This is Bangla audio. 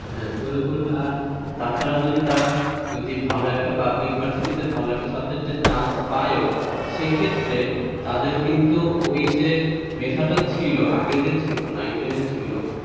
হ্যাঁ ঝরে পড়বে আর তাছাড়াও যদি তারা ভালো একটা পাবলিক ভার্সিটিতে ভালো একটা সাবজেক্টে chance পায়ও, সেক্ষেত্রে তাদের কিন্তু ওইযে মেধাটা ছিল আগে যে ছিল nine ten এ ছিল,